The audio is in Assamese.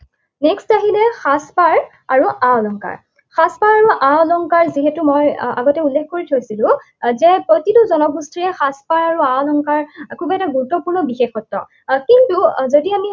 Next আহিলে সাজপাৰ আৰু আ অলংকাৰ। সাজপাৰ আৰু আ অলংকাৰ যিহেতু মই আগতে উল্লেখ কৰি থৈছিলো, যে প্ৰতিটো জনগোষ্ঠীৰে সাজপাৰ আৰু আ অলংকাৰ খুব এটা গুৰুত্বপূৰ্ণ বিশেষত্ব। কিন্তু যদি আমি